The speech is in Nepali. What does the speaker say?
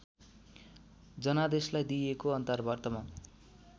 जनादेशलाई दिइएको अन्तर्वार्तामा